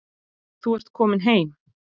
Þú ert komin heim.